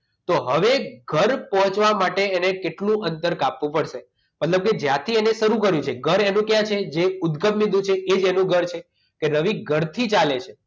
તો હવે ઘર પહોંચવા માટે એને કેટલું અંતર કાપવું પડશે તમને તમને એવું થાય કે જ્યાંથી અને શરૂ કરી છે ઘર એનું ક્યાં છે જે ઉદગમ બિંદુ છે એ જ એનું ઘર છે કે રવિ ઘરથી ચાલે છે